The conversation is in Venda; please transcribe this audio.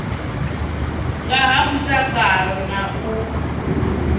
nga ha mutakalo na u